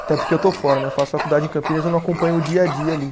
Até porque eu estou fora né, eu faço faculdade em Campinas e não acompanho o dia a dia ali.